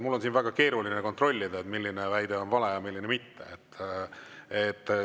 Mul on siin väga keeruline kontrollida, milline väide on vale ja milline mitte.